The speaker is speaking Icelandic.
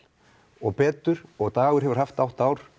og betur og Dagur hefur haft átta ár